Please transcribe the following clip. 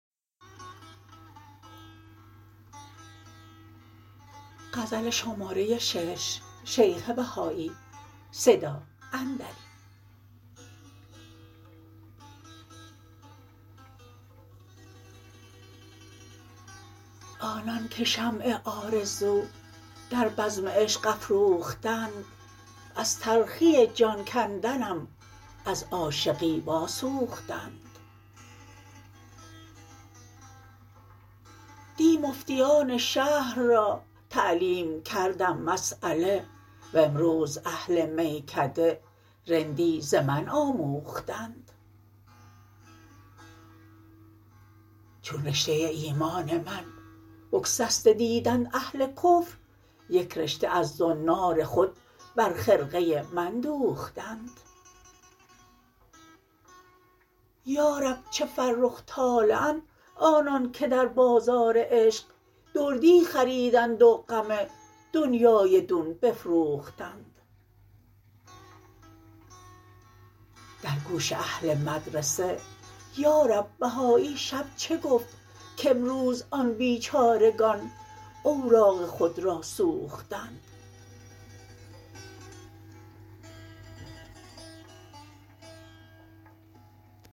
آنانکه شمع آرزو در بزم عشق افروختند از تلخی جان کندنم از عاشقی واسوختند دی مفتیان شهر را تعلیم کردم مسیله و امروز اهل میکده رندی ز من آموختند چون رشته ایمان من بگسسته دیدند اهل کفر یک رشته از زنار خود بر خرقه من دوختند یارب چه فرخ طالعند آنانکه در بازار عشق دردی خریدند و غم دنیای دون بفروختند در گوش اهل مدرسه یارب بهایی شب چه گفت کامروز آن بیچارگان اوراق خود را سوختند